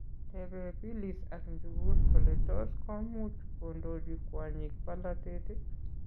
Teebe Phillys ak Njugush kole tos koomuch kondochi kwonyik polatet ii?